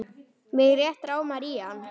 Mig rétt rámar í hann.